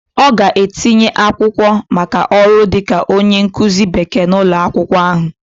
Ọ ga-etinye akwụkwọ maka ọrụ dịka onye nkụzi Bekee n'ụlọ akwụkwọ ahụ